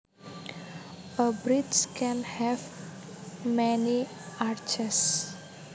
A bridge can have many arches